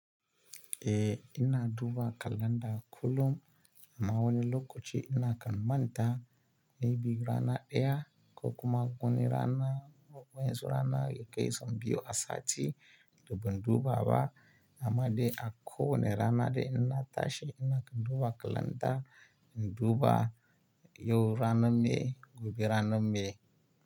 Eh ina duba kalanda kullum amma wani lokaci ina kan manta. Ni bigira na ɗaya, ko kuma wani rana ko wanzu rana gaisan biyu asati duban duba ba amma dai a ko wane rana dai ina tashi ina kan duba kalanda in duba yau rana me, gobe rana me.